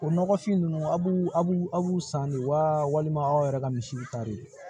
O nɔgɔfin ninnu a b'u a b'u san de wa walima aw yɛrɛ ka misiw ta de ye